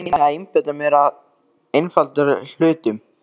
Ég reyni að einbeita mér að einfaldari hlutum.